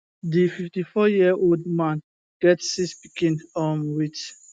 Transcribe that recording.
di 54yearold man get six pikin um wit